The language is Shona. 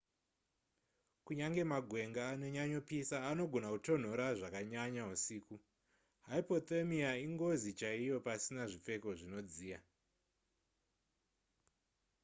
kunyange magwenga anonyanyopisa anogona kutonhora zvakanyanya husiku hypothermia ingozi chaiyo pasina zvipfeko zvinodziya